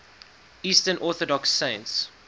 eastern orthodox saints